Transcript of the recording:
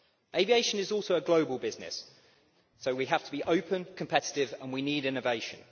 Aviation is also a global business, so we have to be open and competitive, and we need innovation.